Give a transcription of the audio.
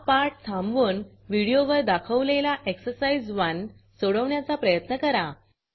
हा पाठ थांबवून व्हिडिओवर दाखवलेला एक्सरसाइज 1 सोडवण्याचा प्रयत्न करा